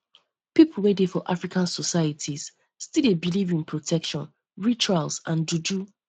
um pipo wey dey for african societies still dey believe in protection rituals and juju